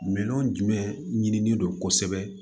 Minɛn jumɛn ɲinien don kosɛbɛ